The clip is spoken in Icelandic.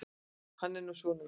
Hann er nú sonur minn.